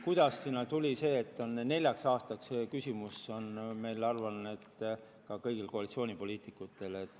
Kuidas sinna tuli, et see on neljaks aastaks, see küsimus on, ma arvan, ka kõigil koalitsioonipoliitikutel.